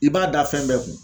I b'a da fɛn bɛɛ kun